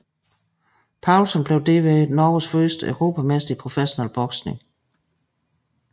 Paulsen blev derved Norges første europamester i professionel boksning